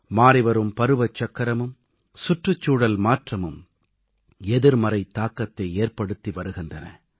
மாறிவரும் பருவச்சக்கரமும் சுற்றுச்சூழல் மாற்றமும் எதிர்மறைத் தாக்கத்தை ஏற்படுத்தி வருகின்றன